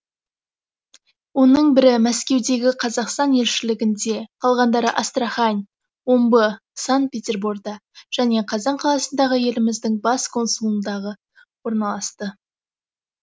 оның бірі мәскеудегі қазақстан елшілігінде қалғандары астрахань омбы санкт петерборда және қазан қаласындағы еліміздің бас консулындағы орналасты